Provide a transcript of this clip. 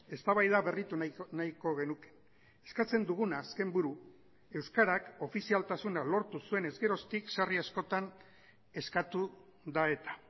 eztabaida berritu nahiko genuke eskatzen duguna azken buru euskarak ofizialtasuna lortu zuenez geroztik sarri askotan eskatu da eta